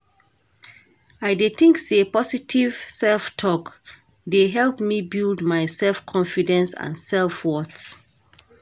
I dey think say positive self-talk dey help me build my self-confidence and self-worth.